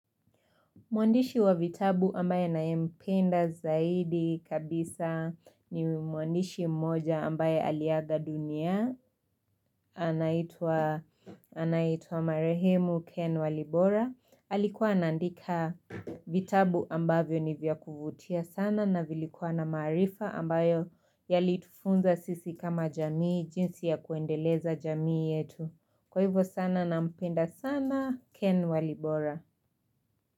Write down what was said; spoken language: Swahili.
Mwandishi wa vitabu ambaye nayempenda zaidi kabisa ni mwandishi mmoja ambaye aliaga dunia, anaitwa Marehemu Ken Walibora. Alikuwa anaandika vitabu ambavyo ni vya kuvutia sana na vilikuwa na maarifa ambayo yalitufunza sisi kama jamii, jinsi ya kuendeleza jamii yetu. Kwa hivyo sana nampenda sana Ken Walibora.